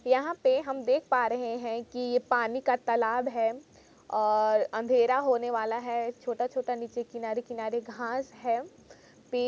यहां पे हम देख पा रहे हैं कि ये पानी का तालाब है और अंधेरा होने वाला है छोटा छोटा नीचे किनारे किनारे घास है। पेड़--